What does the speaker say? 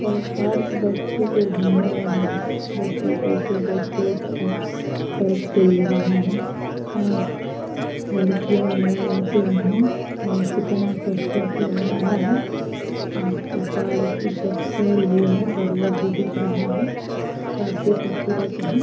यह पार्क बच्चे के घूमने वाला है। देखिए कैसे बच्चे उस पार्क पर खेल रहे है। एं लडकियाँ भी हैं लड़के भी हैं और कितना खूबसूरत लग रहा है। अ पार्क इ सब पेड़ भी है बरगद भी दिख रहा है काफी खूबसूरत है।